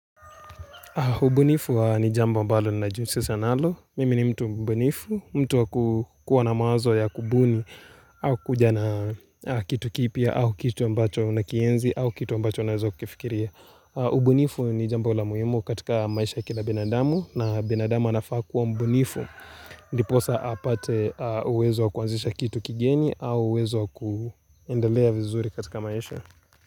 Ubunifu ni jambo ambalo ninajihusisha nalo. Mimi ni mtu mbunifu. Mtu wakukuwa na mawazo ya kubuni au kuja na kitu kipya au kitu ambacho nakienzi au kitu ambacho nawezo kukifikiria. Ubunifu ni jambo la muhimu katika maisha ya kila binadamu na binadamu anafaa kuwa mbunifu. Ndiposa apate uwezo wa kuanzisha kitu kigeni au uwezo wa kundelea vizuri katika maisha.